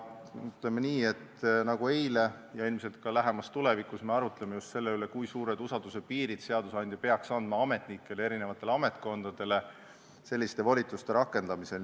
Ütleme nii, et nagu eile, arutame me ilmselt ka lähemas tulevikus just selle üle, kui suured usalduspiirid peaks seadusandja andma ametnikele ja ametkondadele selliste volituste rakendamisel.